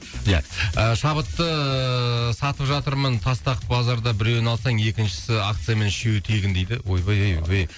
ия ы шабытты сатып жатырмын тастақ базарда біреуін алсаң екіншісі акциямен үшеуі тегін дейді ойбай ай ойбай